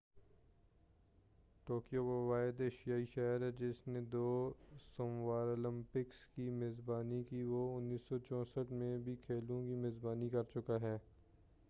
Tokyo وہ واحد ایشیائی شہر ہوگا جس نے دو سمراولمپکس کی میزبانی کی وہ 1964ء میں بھی کھیلوں کی میزبانی کرچُکا ہے